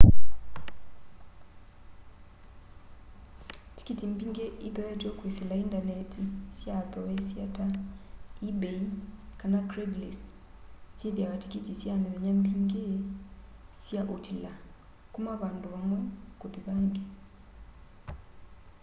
tikiti mbingi ithoetw'e kwisila indanetini sya athoosya ta ebay kana craiglist syithiawa tikiti sya mithenya mingi sya utwila kuna vandu vamwe kuthi vangi